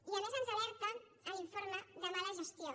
i a més ens alerta en l’informe de mala gestió